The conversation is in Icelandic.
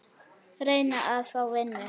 Reyna að fá vinnu?